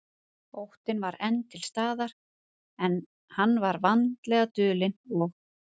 Óttinn var enn til staðar, en hann var vandlega dulinn og